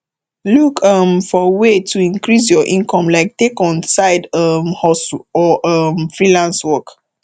look um for way to increase your income like take on side um hustle or um freelance work